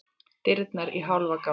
Dyrnar í hálfa gátt.